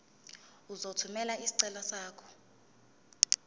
uzothumela isicelo sakho